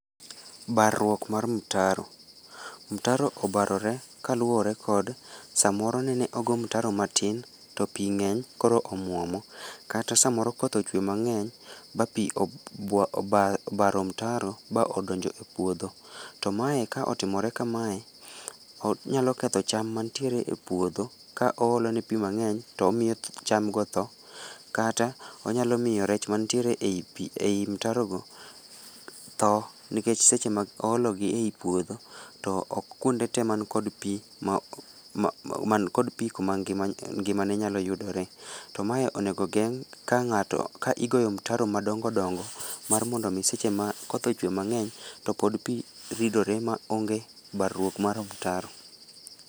Barruok mar mtaro, mtaro obarore kaluore kod samoro nene ogo mtaro matin to pii ngeny koro omuomo kata samoro koth ochwe mangeny ma pii obaro mtaro ma odonjo e puodho .To mae ka otimore kamae onyalo ketho cham matie e puodho ka oolo ne pii mangeny tomiyo cham go otho kata onyalo miyo rech mantie e pii, ei mtaro go tho nikech seche ma oologi e puodho to ok kuonde tee man kod pii ma, man kod pii man gi ngimane nyalo yudore to mae onego ogeng ka ngato ,ka igoyo mtaro madongo dongo mar mondo omi seche ma koth ochwe mangeny to pod pii ridore maonge barruok mar mtaro